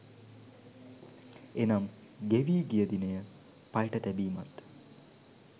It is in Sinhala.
එනම් ගෙවී ගිය දිනය පයට තැබීමත්